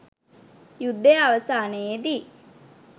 යුද්ධය අවසානයේදී